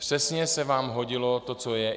Přesně se vám hodilo to, co je.